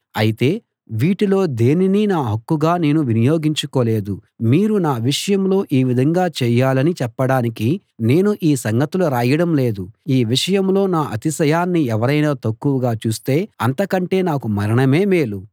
అయితే వీటిలో దేనినీ నా హక్కుగా నేను వినియోగించుకోలేదు మీరు నా విషయంలో ఈ విధంగా చేయాలని చెప్పడానికి నేను ఈ సంగతులు రాయడం లేదు ఈ విషయంలో నా అతిశయాన్ని ఎవరైనా తక్కువగా చూస్తే అంతకంటే నాకు మరణమే మేలు